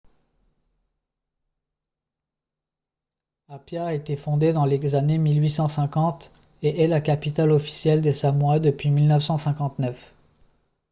apia a été fondée dans les années 1850 et est la capitale officielle des samoa depuis 1959